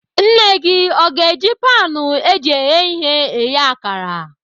Nne gị o ga-eji panu eji eghe ihe eghe akara?